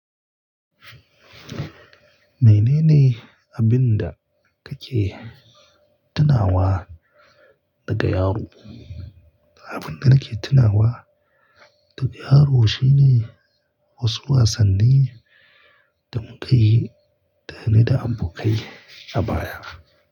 Mene ne abin da kake tunawa daga yaro? Abin da nake tunawa daga yaro shine wasu wasanni da muke yi tare da abokai a baya.